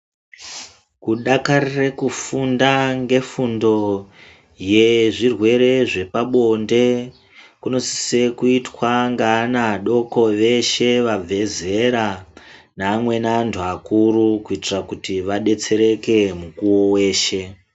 Kudakarira kufunda zvefundo zvezvirwere zvepabonde kunosiswa kuitwa neana adoko eshe abve zera neamweni antu akuru kuitira kuti vadetsereke mukuwo weshe.